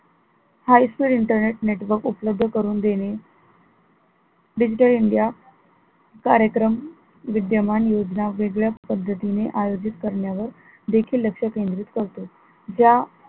high speed internet network उपलब्ध करून देणे digital India कार्यक्रम विद्यमान योजना वेगळ्या पद्धतीने आयोजित करण्यावर देखील लक्ष केंद्रित करतो ज्या